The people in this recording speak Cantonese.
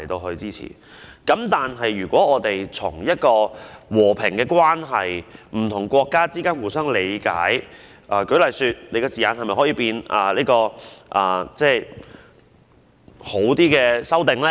反之，我們應從和平關係、不同國家互相理解的角度看，是否可以對議案的字眼作出較好的修訂呢？